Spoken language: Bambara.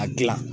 A gilan